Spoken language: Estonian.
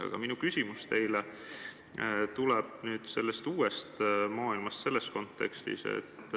Aga minu küsimus teile tuleb n-ö uue maailma kontekstis.